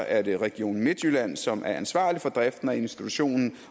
er det region midtjylland som er ansvarlig for driften og institutionen